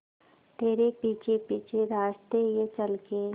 तेरे पीछे पीछे रास्ते ये चल के